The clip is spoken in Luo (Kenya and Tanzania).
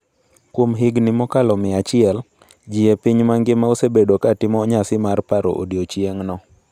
Kuom higini mokalo mia achiel, ji e piny mangima osebedo katimo nyasi mar paro odiechieng'no.